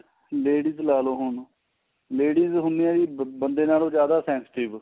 ladies ਲਾਲੋ ਹੁਣ ladies ਹੁੰਦੀਆਂ ਏ ਬੰਦੇ ਨਾਲੋ ਜਿਆਦਾ sensitive